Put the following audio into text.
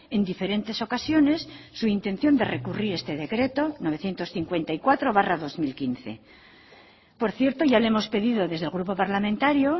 en diferentes ocasiones su intención de recurrir este decreto novecientos cincuenta y cuatro barra dos mil quince por cierto ya le hemos pedido desde el grupo parlamentario